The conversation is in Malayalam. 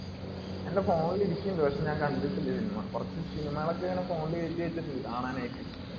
എന്റെ phone ഇൽ ഇരിക്ക്ന്ണ്ട്. പക്ഷെ ഞാൻ കണ്ടിട്ടില്ല cinema. കുറച്ച് cinema കൾ ഒക്കെ ഇങ്ങിനെ phone ൽ കേറ്റി വെച്ചിട്ടുണ്ട്. കാണാനായിട്ട്.